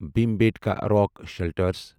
Bhimbetka rock shelters